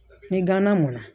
Ni gana mɔnna